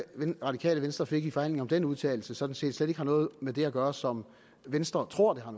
radikale venstre fik i forhandlingerne om den udtalelse sådan set slet ikke har noget med det at gøre som venstre tror det har